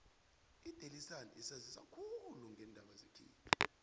idaily sun isanzisa khulu ngeendaba zekhethu